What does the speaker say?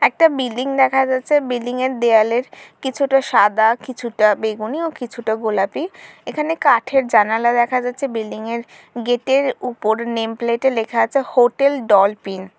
একটা বিল্ডিং দেখা যাচ্ছে বিল্ডিংয়ের -এর দেয়ালের কিছুটা সাদা কিছুটা বেগুনিও কিছুটা গোলাপি এখানে কাঠের জানালা দেখা যাচ্ছে বিল্ডিংয়ের -এর গেটের -এর উপর নেম প্লেটে -এ লেখা আছে হোটেল ডলপিন ।